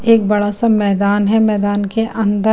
एक बड़ा सा मैदान है मैदान के अन्दर --